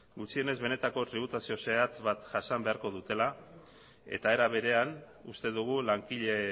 gutxienez benetako tributazio zehatz bat jasan beharko dutela eta era berean uste dugu langile